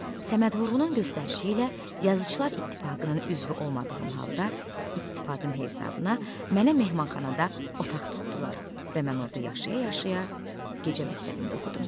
Səməd Vurğunun göstərişi ilə Yazıçılar İttifaqının üzvü olmadığım halda İttifaqın hesabına mənə mehmanxanada otaq tutdular və mən orada yaşaya-yaşaya gecə məktəbində oxudum.